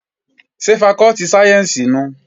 Ṣé fakọ́tì sáyẹ́ǹsì nùu?